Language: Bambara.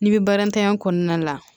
N'i bɛ barantanya kɔnɔna la